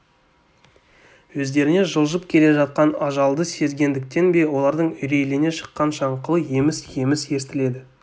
өздеріне жылжып келе жатқан ажалды сезгендіктен бе олардың үрейлене шыққан шаңқылы еміс-еміс естіледі